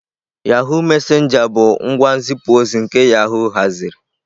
Yahụ messenger bụ ngwa nzipu ozi nke yahoo haziri.